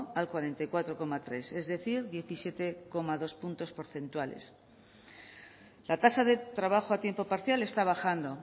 al cuarenta y cuatro coma tres es decir diecisiete coma dos punto porcentuales la tasa de trabajo a tiempo parcial está bajando